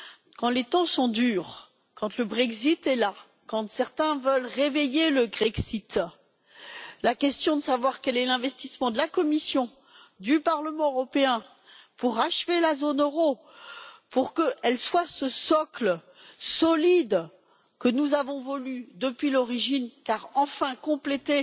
Quand les temps sont durs, quand le Brexit est là, quand certains veulent réveiller le Grexit, la question est de savoir quel est l'investissement de la Commission et du Parlement européen pour achever la zone euro, afin qu'elle soit ce socle solide que nous avons voulu depuis l'origine, car enfin complété